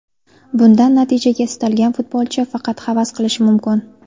Bundan natijaga istalgan futbolchi faqat havas qilishi mumkin.